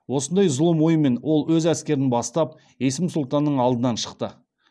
осындай зұлым оймен ол өз әскерін бастап есім сұлтанның алдынан шықты